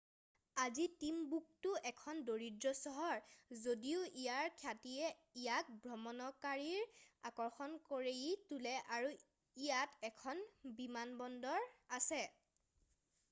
আজি টিমবুকটো এখন দৰিদ্ৰ চহৰ যদিও ইয়াৰ খ্যাতিয়ে ইয়াক ভ্ৰমণকাৰীৰ আকৰ্ষণ কৰি তোলে আৰু ইয়াত এখন বিমানবন্দৰ আছে